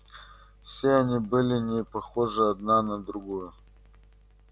все они были не похожи одна на другую